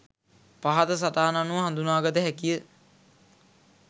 පහත සටහන අනුව හඳුනාගත හැකි ය.